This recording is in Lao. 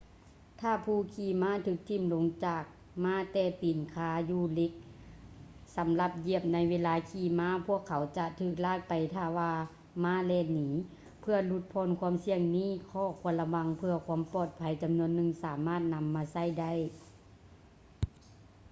ຖ້າຜູ້ຂີມ້າຖືກຖິ້ມລົງຈາກມ້າແຕ່ຕີນຄາຢູ່ເຫລັກສຳລັບຢຽບໃນເວລາຂີ່ມ້າ ພວກເຂົາຈະຖືກລາກໄປຖ້າວ່າມ້າແລ່ນໜີ ເພື່ອຫຼຸດຜ່ອນຄວາມສ່ຽງນີ້ ຂໍ້ຄວນລະວັງເພື່ອຄວາມປອດໄພຈຳນວນໜຶ່ງສາມາດນຳມາໃຊ້ໄດ້